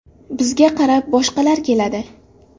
Bizga qarab, boshqalar keladi.